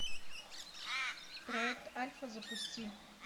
проект альфа запусти